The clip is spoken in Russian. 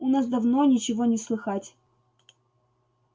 у нас давно ничего не слыхать